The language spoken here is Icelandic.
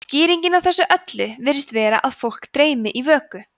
skýringin á þessu öllu virðist vera að fólk dreymi í vöku